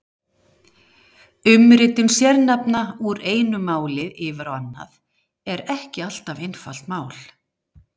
Umritun sérnafna úr einu máli yfir á annað er ekki alltaf einfalt mál.